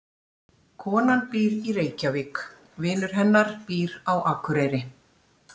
Konan býr í Reykjavík. Vinur hennar býr á Akureyri.